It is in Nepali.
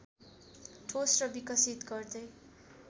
ठोस र विकसित गर्दै